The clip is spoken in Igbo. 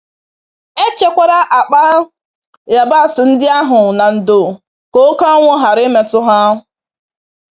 E chekwara akpa yabasị ndị ahụ na ndo ka oke anwụ ghara imetụ ha.